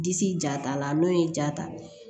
Disi ja ta la n'o ye ja ta